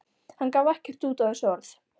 Hann gaf ekkert út á þessi orð.